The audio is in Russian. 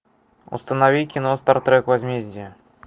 установи кино стартрек возмездие